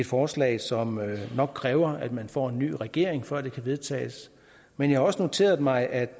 forslag som nok kræver at man får en ny regering før det kan vedtages men jeg har også noteret mig at